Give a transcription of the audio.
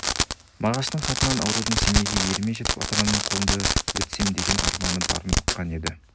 мағаштың хатынан аурудың семейге еліме жетіп ата-анамның қолында өтсем деген арманы барын ұққан еді